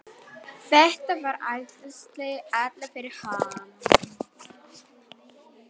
Þetta var æðislegt áfall fyrir hann.